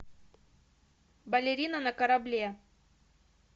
балерина на корабле